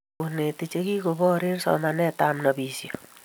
konetik chegigoboor eng somanetab nobishet